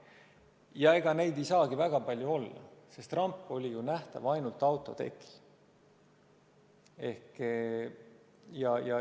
Ega neid inimesi ei saagi väga palju olla, sest ramp oli nähtav ju ainult autotekilt.